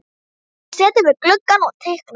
Hann situr við gluggann og teiknar.